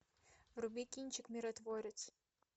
вруби кинчик миротворец